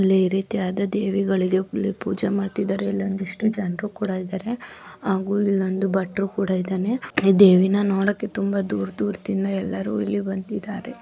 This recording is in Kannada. ಅದು ಚಿತ್ರಣವಾಗಿದ್ದು ಇಲ್ಲಿ ಅಂದು ರೀತಿಯಾಗಿ ಗ್ರಹಗಳು ಕೂಡ ಇದೇ ರೀತಿಯಾದದೇವಿಗಳು ಆಗೋದು ಬಿಟ್ಟು ಕೊಡಬೇಕು. ದೇವಿನ ನೋಡುತ್ತಿಲ್ಲರು.